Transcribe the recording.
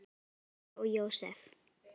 Jesús, María og Jósef!